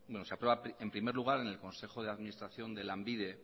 se aprueba en primer lugar en el consejo de administración de lanbide